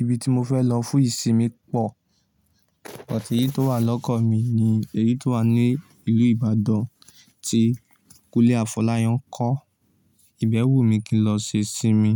Ibi tí mo fẹ́ lọ fún ìsinmi pọ̀, èyí tí ó wà lọ́kàn mi ni èyí tó wà ní ìlú Ìbàdàn tí Kúnlé Afọ́láyan kọ́. Ìbẹ̀wò mi kí n lọ ṣe ìsinmi